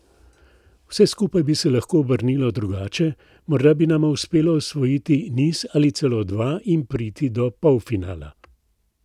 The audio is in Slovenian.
Vse skupaj bi se lahko obrnilo drugače, morda bi nama uspelo osvojiti niz ali celo dva in priti do polfinala.